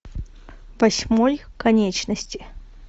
восьмой конечности